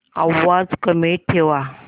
आवाज कमी ठेवा